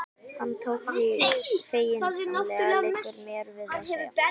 Hann tók því feginsamlega, liggur mér við að segja.